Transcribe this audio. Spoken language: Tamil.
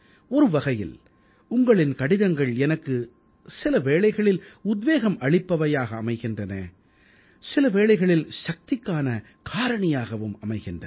ஒரு வகையில் உங்களின் கடிதங்கள் எனக்குச் சில வேளைகளில் உத்வேகம் அளிப்பவையாக அமைகின்றன சில வேளைகளில் சக்திக்கான காரணியாகவும் அமைகின்றன